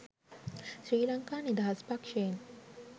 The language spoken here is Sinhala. ශ්‍රී ලංකා නිදහස් පක්ෂයෙන්.